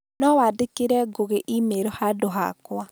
no wandĩkĩre Ngũgĩ e-mail handũ hakwa.